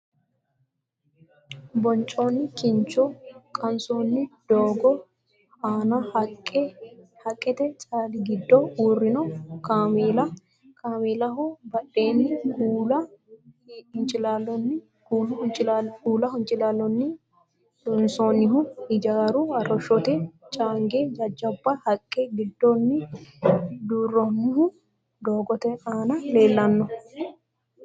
Boncoonni kincho qansoonni doogo aana haqqete caali giddo uurrino kaameela, kameelaho badheenni kuula hincilaallonni loosaminohu ijaaru arrishshote caangi jajjabba haqqe giddooonni dirrinohu doogote aana leellano.